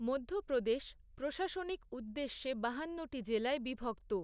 মধ্যপ্রদেশ, প্রশাসনিক উদ্দেশ্যে বাহান্নটি জেলায় বিভক্ত।